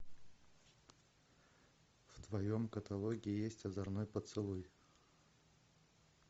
в твоем каталоге есть озорной поцелуй